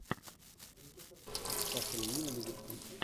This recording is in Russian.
астон вилла ливерпуль